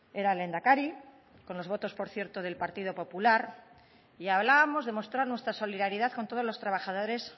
era lehendakari con los votos por cierto del partido popular y hablábamos de mostrar nuestra solidaridad con todos los trabajadores